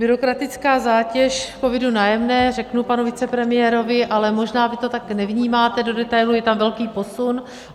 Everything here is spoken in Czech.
Byrokratická zátěž COVID - Nájemné, řeknu panu vicepremiérovi, ale možná vy to tak nevnímáte do detailu, je tam velký posun.